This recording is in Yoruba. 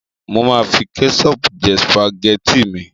Mo máa fi kẹ́ṣọọ̀pù jẹ sùpàgẹ́tì mi.